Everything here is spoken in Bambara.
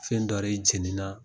Fɛn dɔ re jeni na.